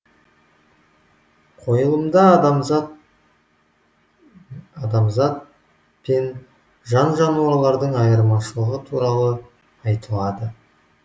қойылымда адамзат мен жан жануарлардың айырмашылығы туралы айтылады